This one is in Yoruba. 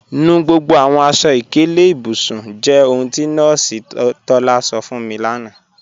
Nù gbogbo àwọn aṣọ-ìkẹlẹ̀ ìbùsùn jẹ́ ohun tí Nọọsi Tọlá sọ̀ fún mi lána.